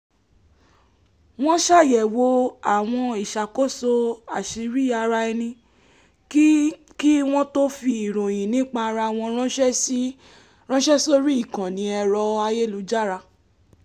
wọ́n ṣàyẹ̀wò àwọn ìṣàkóso àsírí-ara-ẹni kí kí wọ́n tó fi ìròyìn nípa ara wọn ráńṣẹ́ sórí ìkànnì ẹ̀rọ ayélujára